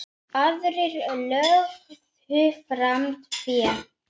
Aðrir lögðu fram fé.